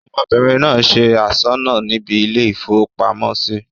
ọmọbìnrin náà se asọ́nà níbi ilé-ìfowópamọ́sí